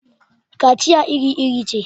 kaciya iri-iri ce